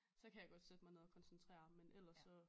Så kan jeg godt sætte mig ned og koncentrere men eller så